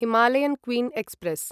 Himalayan Queen express